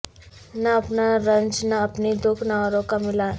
نہ اپنا رنج نہ اپنی دکھ نہ اوروں کا ملال